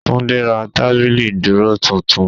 Túndé ra tábìlì ìdúró titun